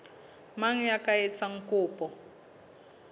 mang ya ka etsang kopo